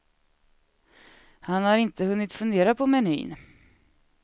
Han har inte hunnit fundera på menyn.